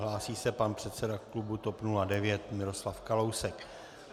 Hlásí se pan předseda klubu TOP 09 Miroslav Kalousek.